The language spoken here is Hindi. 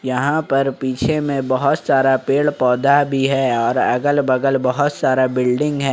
यहां पर पीछे में बहुत सारा पेड़ पौधा भी है और अगल बगल बहुत सारा बिल्डिंग है।